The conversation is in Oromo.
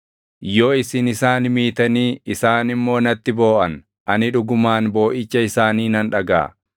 Yoo isin isaan miitanii isaan immoo natti booʼan ani dhugumaan booʼicha isaanii nan dhagaʼa.